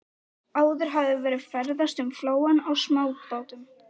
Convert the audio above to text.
Áður hafði verið ferðast um flóann á smábátum.